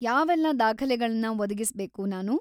ಯಾವೆಲ್ಲ ದಾಖಲೆಗಳನ್ನ ಒದಗಿಸ್ಬೇಕು‌ ನಾನು?